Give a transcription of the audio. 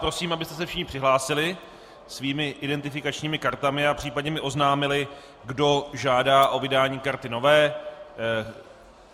Prosím, abyste se všichni přihlásili svými identifikačními kartami a případně mi oznámili, kdo žádá o vydání karty nové.